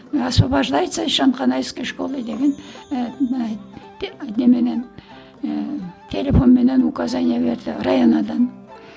осбовождается шанканайской школы деген ііі неменен ііі телефонменен указание берді районо дан